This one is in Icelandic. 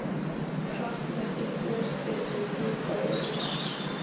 Kraftmesti goshver sem vitað er um var